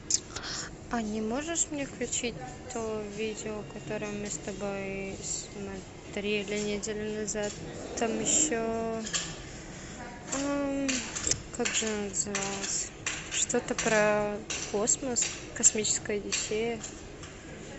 а не можешь мне включить то видео которое мы с тобой смотрели неделю назад там еще как же она называлась что то про космос космическая одиссея